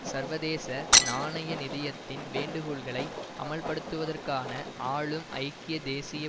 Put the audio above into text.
சர்வதேச நாணய நிதியத்தின் வேண்டுகோள்களை அமல்படுத்துவதற்கான ஆளும் ஐக்கிய தேசிய